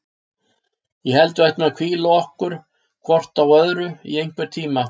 Ég held að við ættum að hvíla okkur á hvort öðru í einhvern tíma.